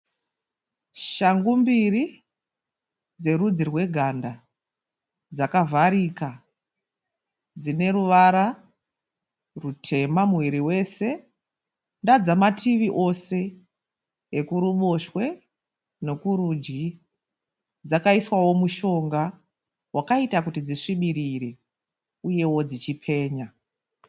Shangu mbiri dzerudzi rweganda, dzakavharika dzine ruvara rutema muviri wese. Ndadzamativi ose ekuruboshwe nekurudyi. Dzakaiswao mushonga wakaita kuti dzisvibirire uyeo dzichipenya.